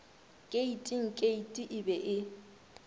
keiting keiti e be e